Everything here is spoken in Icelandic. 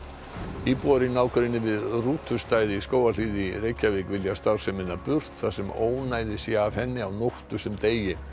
íbúar í nágrenni við í Skógarhlíð í Reykjavík vilja starfsemina burt þar sem ónæði sé af henni á nóttu sem degi